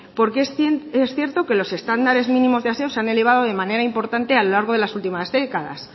porque es cierto que los estándares mínimos de aseo se han elevado de manera importante a lo largo de las últimas décadas